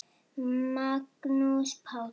Magnús Páll.